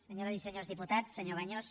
senyores i senyors diputats senyor baños